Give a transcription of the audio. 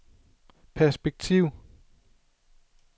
perspektiv